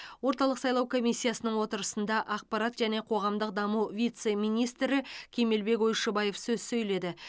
орталық сайлау комиссиясының отырысында ақпарат және қоғамдық даму вице министрі кемелбек ойшыбаев сөз сөйледі